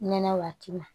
Nɛnɛ waati ma